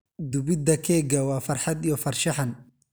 Dubidda keega waa farxad iyo farshaxan.